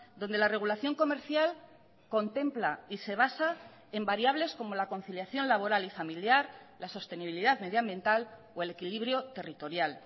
donde la regulación comercial contempla y se basa en variables como la conciliación laboral y familiar la sostenibilidad medioambiental o el equilibrio territorial